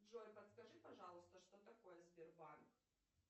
джой подскажи пожалуйста что такое сбербанк